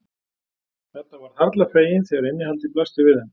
Edda varð harla fegin þegar innihaldið blasti við þeim.